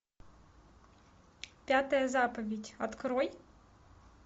пятая заповедь открой